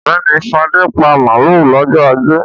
Ọ̀gbẹ́ni Fadé pa màlúù lọ́jọ́ ajé.